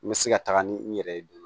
N bɛ se ka taga ni n yɛrɛ ye